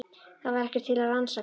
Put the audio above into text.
Það var ekkert til að rannsaka.